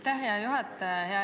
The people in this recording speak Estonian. Aitäh, hea juhataja!